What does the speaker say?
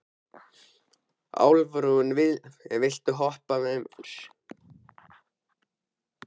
Álfrún, viltu hoppa með mér?